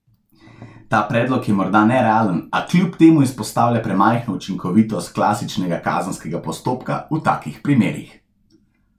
Ta predlog je morda nerealen, a kljub temu izpostavlja premajhno učinkovitost klasičnega kazenskega postopka v takih primerih.